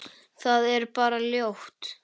Það er bara ljóð.